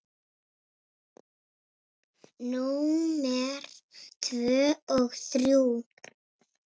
Númer tvö og þrjú.